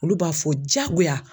Olu b'a fɔ diyagoya